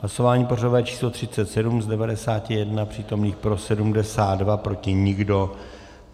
Hlasování pořadové číslo 37, z 91 přítomných pro 72, proti nikdo.